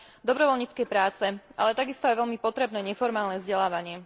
dobrovoľníckej práce, ale takisto aj veľmi potrebné neformálne vzdelávanie.